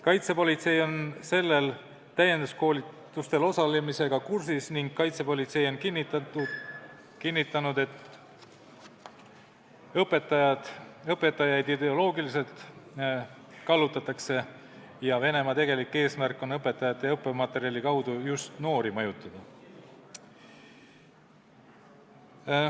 Kaitsepolitsei on nendel täienduskoolitustel osalemisega kursis ning on kinnitanud, et õpetajaid ideoloogiliselt kallutatakse ja Venemaa tegelik eesmärk on õpetajate ja õppematerjali kaudu just noori mõjutada.